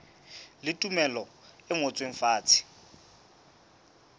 le tumello e ngotsweng fatshe